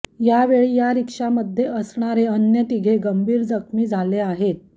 यावेळी या रिक्षामध्ये असणारे अन्य तिघे गंभीर जखमी झाले आहेत